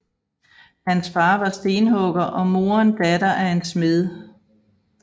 Hans far var stenhugger og moren datter af en smed